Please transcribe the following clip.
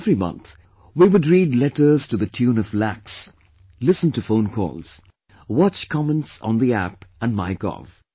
Every month, we would read letters to the tune of lakhs, listen to phone calls, watch comments on the App & Mygov